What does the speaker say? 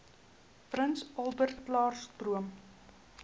prins albertklaarstroom